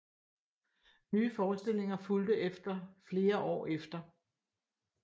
Nye forestillinger fulgte efter flere år efter